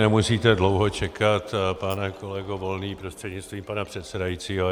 Nemusíte dlouho čekat, pane kolego Volný prostřednictvím pana předsedajícího.